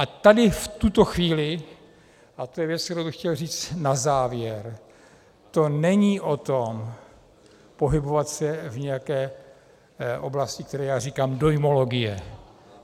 A tady v tuto chvíli, a to je věc, kterou bych chtěl říct na závěr, to není o tom pohybovat se v nějaké oblasti, které já říkám dojmologie.